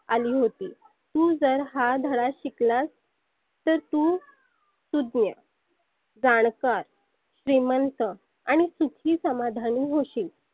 आली होती. तु जर हा धडा शिकलास तर तु सुज्ञ जानकार श्रिमंत आणि सुखी समाधानी होशील.